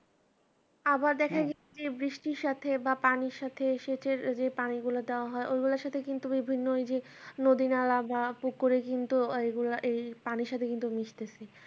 আবার দেখেন যে বৃষ্টির সাথে বা পানির সাথে সেচের যে পানিগুলো দেওয়া হয় ওইগুলার সাথে কিন্তু বিভিন্ন ওইযে নদীনালা বা পুকুরে কিন্তু ওইগুলা এই পানির সাথে কিন্তু মিশতেছে